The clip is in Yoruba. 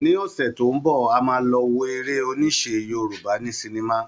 Ní ọ̀sẹ̀ tó ń bọ̀, a máa lọ wo èrè oníṣe Yorùbá ní sinimá